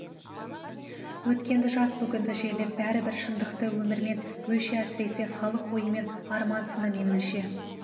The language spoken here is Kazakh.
өткенді жаз бүгінді жерлеп бәрібір шындықты өмірмен өлше әсіресе халық ойымен арман сынымен өлше